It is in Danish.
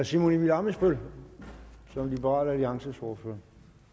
simon emil ammitzbøll som liberal alliances ordfører